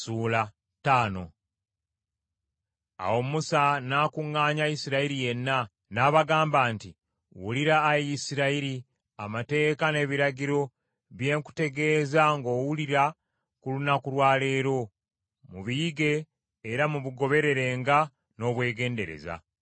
Awo Musa n’akuŋŋaanya Isirayiri yenna, n’abagamba nti, Wulira, Ayi Isirayiri, amateeka n’ebiragiro bye nkutegeeza ng’owulira ku lunaku lwa leero. Mubiyige era mubigobererenga n’obwegendereza.